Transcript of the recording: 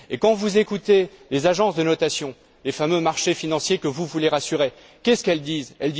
Quand vous écoutez les agences de notation les fameux marchés financiers que vous voulez rassurer que disent elles?